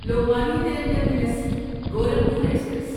Lokmanya Tilak terminus Gorakhpur express